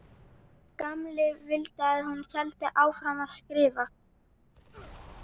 Gamli vildi að hún héldi áfram að skrifa.